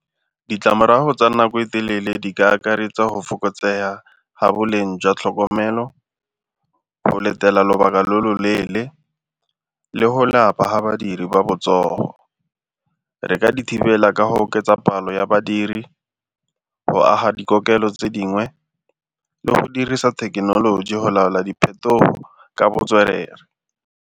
Ditlamorago tsa nako e telele di ka akaretsa go fokotsega ga boleng jwa tlhokomelo, go letela lobaka lo lo leele le go lapa ga badiri ba botsogo. Re ka di thibela ka go oketsa palo ya badiri, go aga dikokelo tse dingwe le go dirisa thekenoloji go laola diphetogo ka botswerere.